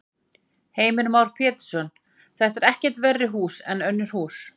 Heimir Már Pétursson: Þetta eru ekkert verri hús en önnur hús?